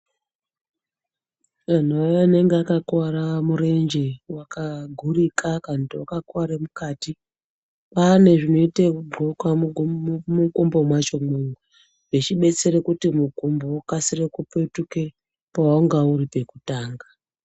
Anhu aya anonga akakuwara murenje wakagurika kana kuti wakakuware mukati kwaane zvinoite yekudhlokwa mumukumbo mwachomwo zvechibetsere kuti mukumbo ukasike kupetuke pawanga uri pekutanga.